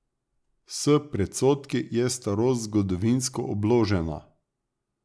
S predsodki je starost zgodovinsko obložena.